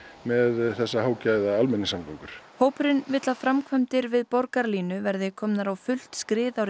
með þessar hágæða almenningssamgöngur hópurinn vill að framkvæmdir við Borgarlínu verði komnar á fullt skrið